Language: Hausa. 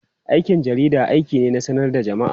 Aikin jarida aiki ne na sanar da jama'a.